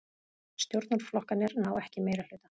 Stjórnarflokkarnir ná ekki meirihluta